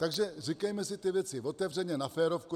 Takže říkejme si ty věci otevřeně, na férovku.